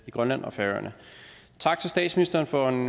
i grønland og færøerne tak til statsministeren for en